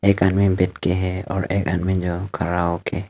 एक आदमी बैठके है और एक आदमी जो खड़ा होके।